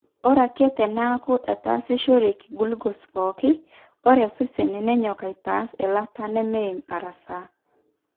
Ore ake teneeku etaasishoreki gulucose pooki, ore osesen nenyok aitaas eilata nemeim arasaa.